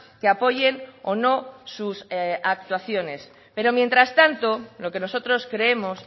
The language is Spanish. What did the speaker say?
que apoyen o no sus actuaciones pero mientras tanto lo que nosotros creemos